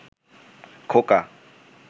খোকা